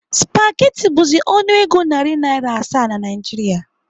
Spageti bụzi ọnụego nari Naira asaa na Naịjiria.